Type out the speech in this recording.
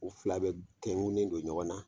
U fila bɛɛ tɛngulen don ɲɔgɔn na